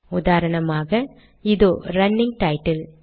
உதாரணமாக இதோ running title